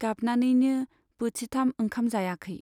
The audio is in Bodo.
गाबनानैनो बोथिथाम ओंखाम जायाखै।